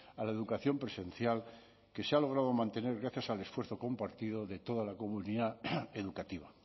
a la educación presencial que se ha logrado mantener gracias al esfuerzo compartido de toda la comunidad educativa